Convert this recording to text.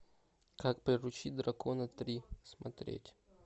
как приручить дракона три смотреть